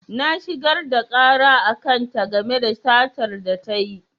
Na shigar da ƙara a kan ta game da satar da tayi